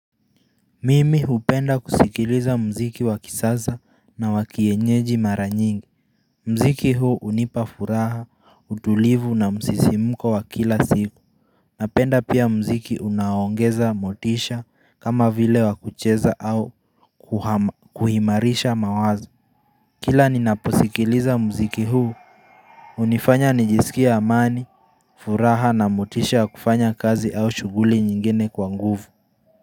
Mimi hupenda kusikiliza mziki wakisasa na wa kienyeji mara nyingi Mziki huu unipa furaha, utulivu na msisimuko wa kila siku Napenda pia mziki unaongeza motisha kama vile wa kucheza au kuimarisha mawazo Kila ninaposikiliza mziki huu unifanya nijisikie amani, furaha na motisha kufanya kazi au shuguli nyingene kwa nguvu.